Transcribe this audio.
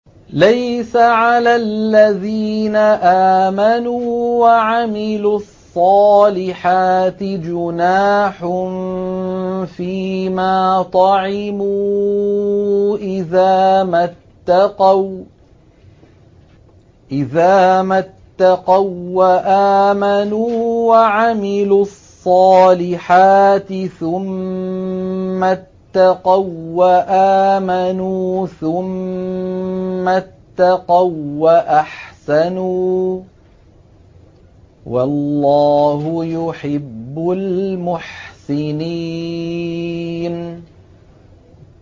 لَيْسَ عَلَى الَّذِينَ آمَنُوا وَعَمِلُوا الصَّالِحَاتِ جُنَاحٌ فِيمَا طَعِمُوا إِذَا مَا اتَّقَوا وَّآمَنُوا وَعَمِلُوا الصَّالِحَاتِ ثُمَّ اتَّقَوا وَّآمَنُوا ثُمَّ اتَّقَوا وَّأَحْسَنُوا ۗ وَاللَّهُ يُحِبُّ الْمُحْسِنِينَ